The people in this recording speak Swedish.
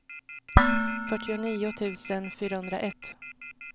fyrtionio tusen fyrahundraett